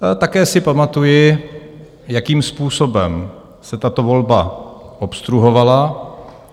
Také si pamatuji, jakým způsobem se tato volba obstruovala.